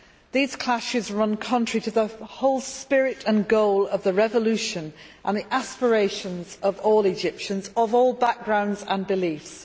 These clashes run contrary to the whole spirit and goals of the revolution and the aspirations of all Egyptians of all backgrounds and beliefs.